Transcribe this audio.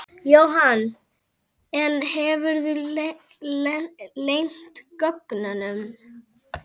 Jóhann: En hefurðu leynt gögnum?